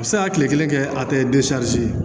A bɛ se ka kile kelen kɛ a tɛ